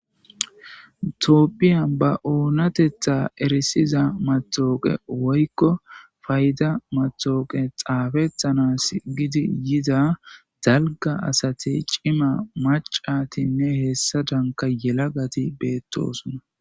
Toopphiya ba oonatetha erisiza matooqe woykko fayda matooqe xaafetanas gidi yida dalga asatey cima macatinne hessa danka yelagati beettosona.